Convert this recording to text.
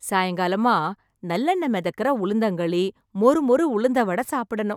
சாயங்காலமா நல்லெண்ணெய் மிதக்குற உளுந்தங்களி, மொறு மொறு உளுந்த வடை சாப்பிடணும்.